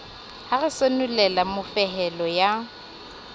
ho re senolela mofehelo ya